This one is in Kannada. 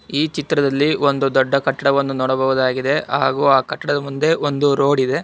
ಈ ಚಿತ್ರದಲ್ಲಿ ಒಂದು ದೊಡ್ಡ ಕಟ್ಟಡವನ್ನು ನೋಡಬಹುದಗಿದೆ ಹಾಗೂ ಆ ಕಟ್ಟಡದ ಮುಂದೆ ಒಂದು ರೋಡ್ ಇದೆ.